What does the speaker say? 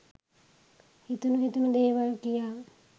හිතුණු හිතුණු දේවල් කියා